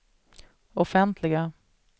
offentliga